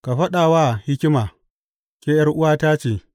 Ka faɗa wa hikima, Ke ’yar’uwata ce,